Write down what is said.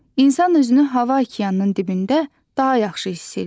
İnsan özünü hava okeanının dibində daha yaxşı hiss edir.